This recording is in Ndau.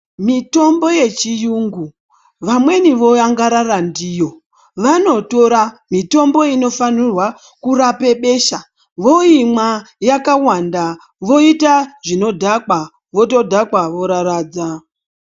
Mitombo yechiyungu vamweni voangarara ndiyo vanotora mitombo inofanira kurapa besha voimwa yakawanda voita zvinodhakwa zvotodhakwa voraradza.